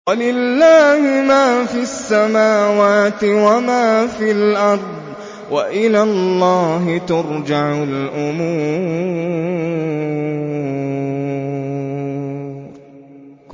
وَلِلَّهِ مَا فِي السَّمَاوَاتِ وَمَا فِي الْأَرْضِ ۚ وَإِلَى اللَّهِ تُرْجَعُ الْأُمُورُ